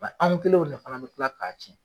Ba an kɛlenw ni ala be kila k'a cɛn